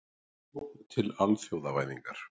Sókn til alþjóðavæðingar.